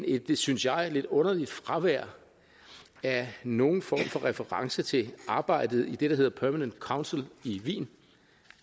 et synes jeg lidt underligt fravær af nogen form for reference til arbejdet i det der hedder permanent council i wien